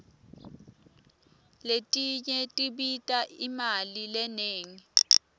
letinye tibita imali lenengi